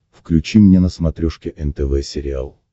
включи мне на смотрешке нтв сериал